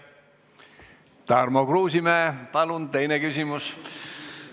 Tarmo Kruusimäe, palun, teine küsimus!